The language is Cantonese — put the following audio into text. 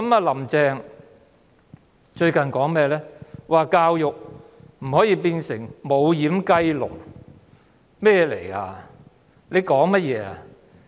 "林鄭"最近說教育不可以變成"無掩雞籠"，她說甚麼？